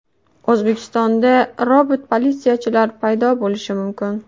O‘zbekistonda robot-politsiyachilar paydo bo‘lishi mumkin.